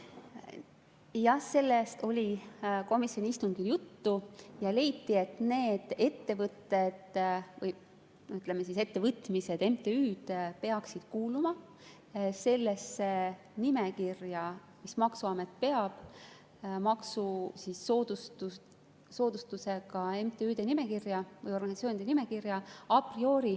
Jah, sellest oli komisjoni istungil juttu ja leiti, et need ettevõtted või, ütleme, ettevõtmised, MTÜ-d peaksid kuuluma sellesse nimekirja, mis maksuamet peab maksusoodustusega MTÜ-de või organisatsioonide nimekirja a priori.